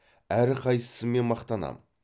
әрқайсысымен мақтанам